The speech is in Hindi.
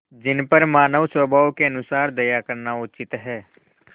जिन पर मानवस्वभाव के अनुसार दया करना उचित है